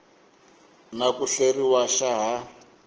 na ku hleriwa xa ha